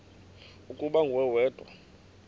ukuba nguwe wedwa